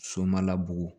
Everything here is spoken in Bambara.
So ma la bugɔ